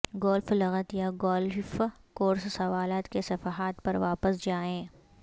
golf لغت یا golf course سوالات کے صفحات پر واپس جائیں